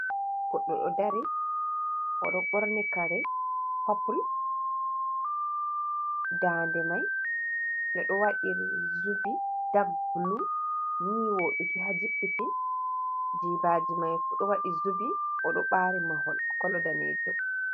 Goɗɗo ɗo dari o ɗo ɓorni kare popul, dande mai je ɗo waɗi zubi dak blu ni woduki ha jippiti jibaji mai ko ɗo waɗi zubi o ɗo ɓari mahol kolo danejum.